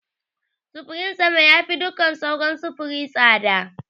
Sufurin sama yafi duk sauran sufuri tsada.